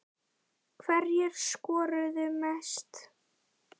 Hverjir skoruðu mest?